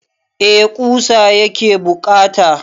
Eh ƙusa yake buƙata.